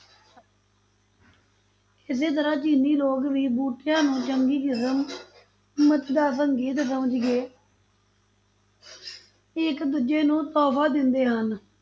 ਇਸੇ ਤਰ੍ਹਾਂ ਚੀਨੀ ਲੋਕ ਵੀ ਬੂਟਿਆਂ ਨੂੰ ਚੰਗੀ ਕਿਸਮ ਦਾ ਸੰਕੇਤ ਸਮਝ ਕੇ ਇੱਕ ਦੂਜੇ ਨੂੰ ਤੋਹਫ਼ਾ ਦਿੰਦੇ ਹਨ,